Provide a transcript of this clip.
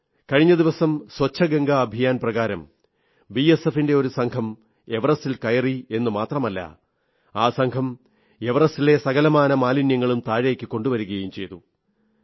കഴിഞ്ഞ ദിവസം സ്വച്ഛ ഗംഗാ അഭിയാൻ പ്രകാരം ബിഎസ്എഫിന്റെ ഒരു സംഘം എവറസ്റ്റിൽ കയറി എന്നു മാത്രമല്ല ആ സംഘം എവറസ്റ്റിലെ സകലമാന മാലിന്യങ്ങളും താഴേക്കു കൊണ്ടുവരുകയും ചെയ്തു